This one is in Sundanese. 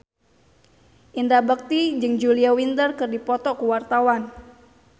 Indra Bekti jeung Julia Winter keur dipoto ku wartawan